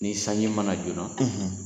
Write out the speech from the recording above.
Ni sanji ma na joona